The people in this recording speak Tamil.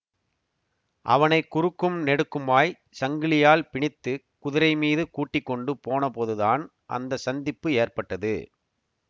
அவனை குறுக்கும் நெடுக்குமாய்ச் சங்கிலியால் பிணித்து குதிரை மீது கூட்டிக்கொண்டு போன போதுதான் அந்த சந்திப்பு ஏற்பட்டது